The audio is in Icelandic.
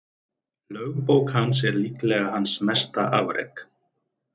Lögbók hans er líklega hans mesta afrek.